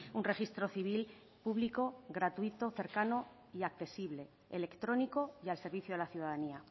un registro civil público gratuito cercano y accesible electrónico y al servicio de la ciudadanía